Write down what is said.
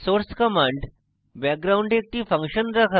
source command background একটি function রাখা